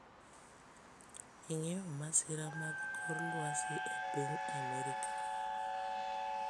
ing'eyo masira mag kor lwasi e piny Amerka